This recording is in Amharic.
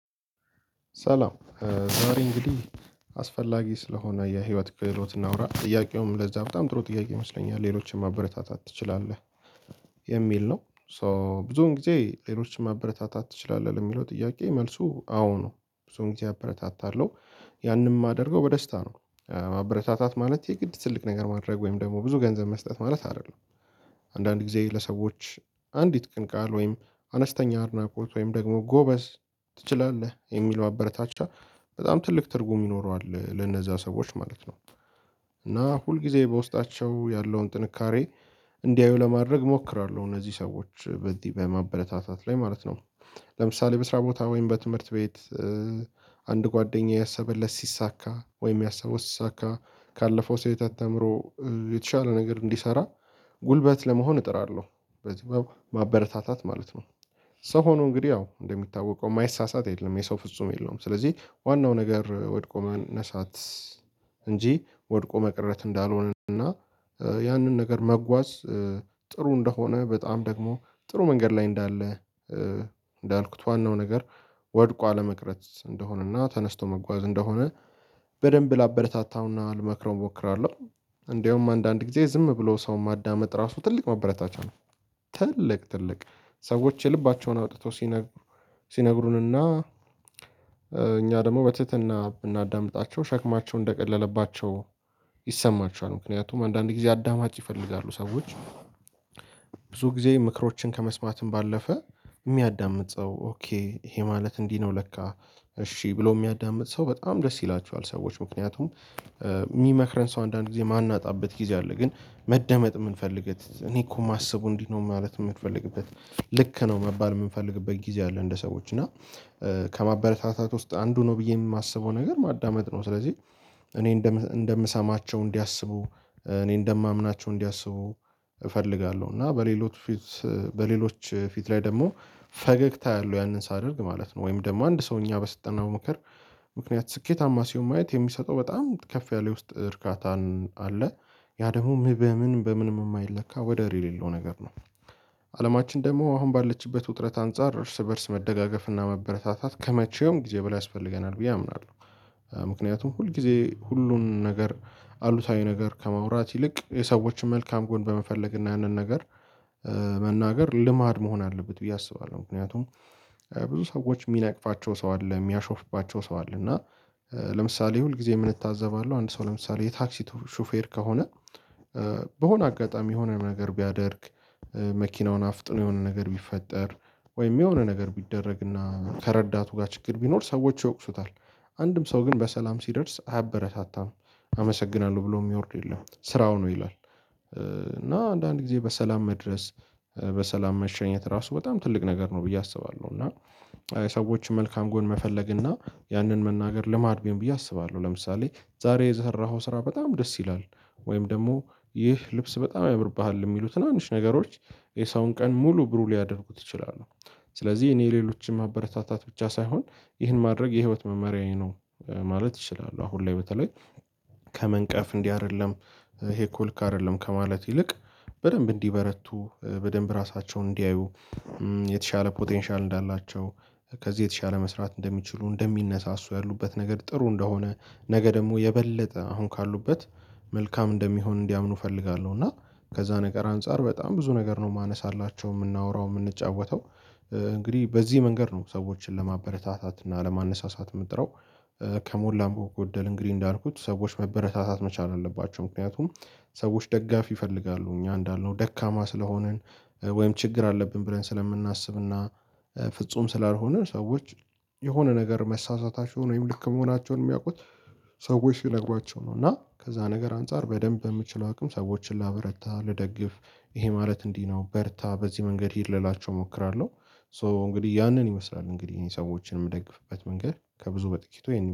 ሰላም ዛሬ እንግዲህ አስፈላጊ ስለሆነ የህይወት ክህሎት እናውራ። ጥያቄውም ለዛ በጣም ጥሩ ጥያቄ ይመስለኛል ሌሎችን ማበረታታት ትችላለህ የሚል ነው። ሶ ብዙውን ጊዜ ሌሎችን ማበረታታት ትችላለህ? ለሚለው ጥያቄ መልሱ አዎ ነው። ብዙውን ጊዜ አበረታታለሁ። ያንን ማደርገው በደስታ ነው ማበረታታት ማለት የግድ ትልቅ ነገር ማድረግ ወይም ደግሞ ብዙ ገንዘብ መስጠት ማለት አይደለም። አንዳንድ ጊዜ ለሰዎች አንዲት ቅን ቃል ወይም አነስተኛ አድናቆት ወይም ደግሞ ጎበዝ፣ ትችላለህ የሚለው አበረታቻ በጣም ትልቅ ትርጉም ይኖረዋል ለነዛ ሰዎች ማለት ነው። እና ሁል ጊዜ በውስጣቸው ያለውን ጥንካሬ እንዲያው ለማድረግ እሞክራለሁ እነዚህ ሰዎች በዚህ በማበረታታት ላይ ማለት ነው። ለምሳሌ በስራ ቦታ ወይም በትምህርት ቤት አንድ ጓደኛዬ ያሰበለት ሲሳካ ወይም ያሰበው እሳካ ካለፈው ሴት አተምሮ የተሻለ ነገር እንዲሰራ ጉልበት ለመሆን እጥራለሁ። በዚህ በ ማበረታታት ማለት ነው። ሰው ሆኖ እንግዲህ ያው እንደሚታወቀው የማይሳሳት የለም። የሰው ፍጹም የለውም። ስለዚህ ዋናው ነገር ወድቆ መነሳት እንጂ ወድቆ መቅረት እንዳልሆነ እና ያንን ነገር መጓዝ ጥሩ እንደሆነ በጣም ደግሞ ጥሩ መንገድ ላይ እንዳለ እንዳልኩት ዋናው ነገር ወድቆ አለመቅረት እንደሆነና ተነስቶ መጓዝ እንደሆነ በደንብ ላበረታታውና ልመክረው ሞክራለሁ። እንደውም አንዳንድ ጊዜ ዝም ብሎ ሰው ማዳመጥ ራሱ ትልቅ ማበረታቻ ነው። ትልቅ ትልቅ! ሰዎች የልባቸውን አውጥተው ሲነግሩ ሲነግሩንና እኛ ደግሞ በትህትና ብናዳምጣቸው ሸክማቸው እንደቀለለባቸው ይሰማቸዋል። ምክንያቱም አንዳንድ ጊዜ አዳማጭ ይፈልጋሉ ሰዎች ብዙ ጊዜ ምክሮችን ከመስማትም ባለፈ ሚያዳምጥ ሰው ኦኬ ይሄ ማለት እንዲህ ነው ለካ እሺ ብሎ ሚያዳምጥ ሰው በጣም ደስ ይላችዋል ሰዎች ምክንያቱም ሚመክረን ሰው አንዳንድ ጊዜ ማናጣበት ጊዜ አለ። ግን መደመጥ ምንፈልገት እኔ እኮ ማስበው እንዲህ ነው ማለት ምትፈልግበት ልክ ነው መባል ምንፈልግበት ጊዜ አለ እንደ ሰዎች እና ከማበረታታት ውስጥ አንዱ ነው ብዬ ማስበው ነገር ማዳመጥ ነው። ስለዚህ እኔ እንደምሰማቸው እንዲያስቡ እኔ እንደማምናቸው እንዲያስቡ ፈልጋለሁ። እና በሌሎች ፊት በሌሎች ፊት ላይ ደግሞ ፈገግታ አለው ያንን ሳደርግ ማለት ነው። ወይም ደግሞ አንድ ሰውኛ በሰጠነው ምክር ምክንያት ስኬታማ ሲሆን ማየት የሚሰጠው በጣም ከፍ ያለ ውስጥ እርካታን አለ። ያ ደግሞ በምን በምንም የማይለካ ወደር የሌለው ነገር ነው። አለማችን ደግሞ አሁን ባለችበት ውጥረት አንፃር እርስ በእርስ መደጋገፍ እና መበረታታት ከመቼውም ጊዜ በላይ ያስፈልገናል ብዬ አምናለሁ። ምክንያቱም ሁል ጊዜ ሁሉን ነገር አሉታዊ ነገር ከማውራት ይልቅ የሰዎችን መልካም ጎን በመፈለግ እና ያንን ነገር መናገር ልማድ መሆን አለበት ብዬ አስባለሁ። ምክንያቱም ብዙ ሰዎች ሚነቅፋቸው ሰው አለ። ሚያሾፍባቸው ሰው አለ እና ለምሳሌ ሁል ጊዜ ምን እታዘባለው? አንድ ሰው ለምሳሌ የታክሲ ሹፌር ከሆነ በሆነ አጋጣሚ የሆነ ነገር ቢያደርግ መኪናውን አፍጥኖ የሆነ ነገር ቢፈጠር ወይም የሆነ ነገር ቢደረግና ከረዳቱ ጋር ችግር ቢኖር ሰዎች ይወቅሱታል። አንድም ሰው ግን በሰላም ሲደርስ አያበረታታም። አመሰግናለሁ ብሎ ሚወርድ የለም። ስራው ነው ይላል እና አንዳንድ ጊዜ በሰላም መድረስ በሰላም መሸኘት ራሱ በጣም ትልቅ ነገር ነው ብዬ አስባለሁ። እና የሰዎች መልካም ጎን መፈለግ እና ያንን መናገር ልማድ ቢሆን ብዬ አስባለሁ። ለምሳሌ ዛሬ የሰራኧው ስራ በጣም ደስ ይላል ወይም ደግሞ ይህ ልብስ በጣም ያምርብሃል ሚሉ ትናንሽ ነገሮች የሰውን ቀን ሙሉ ብሩህ ሊያደርጉት ይችላሉ። ስለዚህ እኔ ሌሎችን ማበረታታት ብቻ ሳይሆን ይህን ማድረግ የህይወት መመሪያዬ ነው ማለት ይችላሉ አሁን ላይ በተለይ ከመንቀፍ እንዲህ አይደለም ይሄ እኮ ልክ አይደለም ከማለት ይልቅ በደንብ እንዲበረቱ በደንብ ራሳቸውን እንዲያዩ የተሻለ ፖቴንሻል እንዳላቸው ከዚህ የተሻለ መስራት እንደሚችሉ እንደሚነሳሱ ያሉበት ነገር ጥሩ እንደሆነ ነገ ደግሞ የበለጠ አሁን ካሉበት መልካም እንደሚሆን እንዲያምኑ እፈልጋለሁ እና ከዛ ነገር አንፃር በጣም ብዙ ነገር ነው ማነሳላቸው ምናወራው ምንጫወተው እንግዲህ በዚህ መንገድ ነው ሰዎችን ለማበረታታት እና ለማነሳሳት ምጥረው። ከሞላም ጎደል እንግዲህ እንዳልኩት ሰዎች መበረታታት መቻል አለባቸው። ምክንያቱም ሰዎች ደጋፊ ይፈልጋሉ። እኛ እንዳልነው ደካማ ስለሆንን ወይም ችግር አለብን ብለን ስለምናስብና ፍጹም ስላልሆነ ሰዎች የሆነ ነገር መሳሳታቸውን ወይም ልክ መሆናቸውን ሚያውቁት ሰዎች ሲነግሯቸው ነው እና ከዛ ነገር አንፃር በደንብ የምችለው አቅም ሰዎችን ላበረታ ልደግፍ ይሄ ማለት እንዲህ ነው በርታ በዚህ መንገድ ሂድ ልላቸው ሞክራለሁ። ሶ እንግዲህ ያንን ይመስላል እንግዲህ ይሄን ሰዎችን ምደግፍበት መንገድ ከብዙ በጥቂቱ